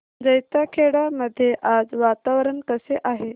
जैताखेडा मध्ये आज वातावरण कसे आहे